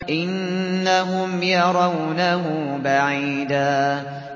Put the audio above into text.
إِنَّهُمْ يَرَوْنَهُ بَعِيدًا